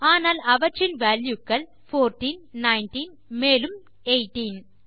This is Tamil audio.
ஆனால் அவற்றின் வால்யூ க்கள் போர்ட்டீன் நைன்டீன் மேலும் எய்தீன்